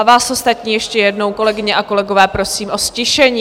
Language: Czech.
A vás ostatní ještě jednou, kolegyně a kolegyně, prosím o ztišení.